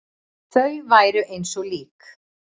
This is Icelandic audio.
Þau væru eins og lík.